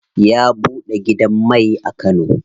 Ya buɗe gidan mai a kano.